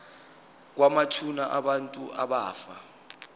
kwamathuna abantu abafa